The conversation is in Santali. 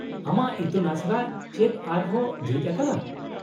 -ᱟᱢᱟᱜ ᱤᱛᱩᱱᱟᱥᱲᱟ ᱪᱮᱫ ᱟᱨ ᱦᱚᱸ ᱡᱷᱤᱡ ᱟᱠᱟᱱᱟ ?